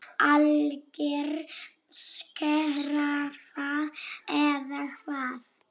Alger skræfa eða hvað?